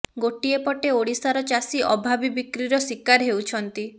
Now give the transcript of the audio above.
ଗୋଟିଏ ପଟେ ଓଡିଶାର ଚାଷୀ ଅଭାବୀ ବିକ୍ରିର ଶିକାର ହେଉଛନ୍ତି